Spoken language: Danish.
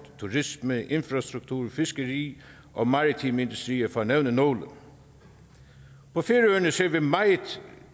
turisme infrastruktur fiskeri og maritime industrier for at nævne nogle på færøerne ser vi meget